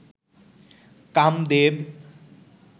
Kamadeva